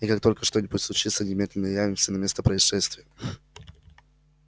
и как только что-нибудь случится немедленно явимся на место происшествия